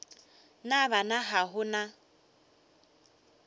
na bana ga go na